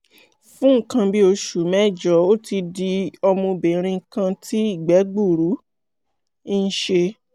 fún nǹkan bí oṣù mẹ́jọ ó ti di ọmọbìnrin kan tí ìgbẹ́ gbuuru ń ṣe